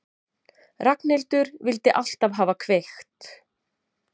Ragnhildur vildi alltaf hafa kveikt.